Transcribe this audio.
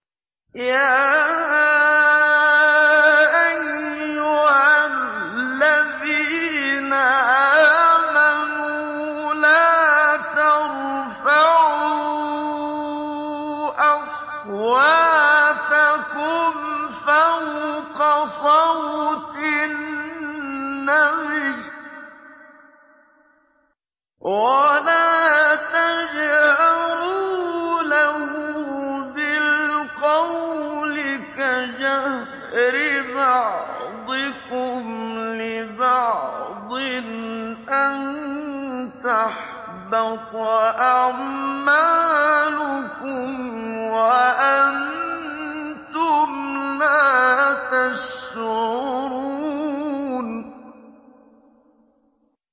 يَا أَيُّهَا الَّذِينَ آمَنُوا لَا تَرْفَعُوا أَصْوَاتَكُمْ فَوْقَ صَوْتِ النَّبِيِّ وَلَا تَجْهَرُوا لَهُ بِالْقَوْلِ كَجَهْرِ بَعْضِكُمْ لِبَعْضٍ أَن تَحْبَطَ أَعْمَالُكُمْ وَأَنتُمْ لَا تَشْعُرُونَ